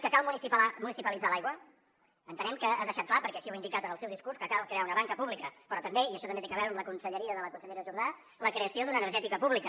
que cal municipalitzar l’aigua entenem que ha deixat clar perquè així ho ha indicat en el seu discurs que cal crear una banca pública però també i això també té a veure amb la conselleria de la consellera jordà la creació d’una energètica pública